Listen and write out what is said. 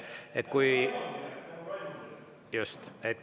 Just!